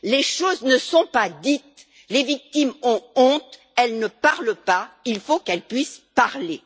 Les choses ne sont pas dites, les victimes ont honte, elles ne parlent pas et il faut qu'elles puissent parler.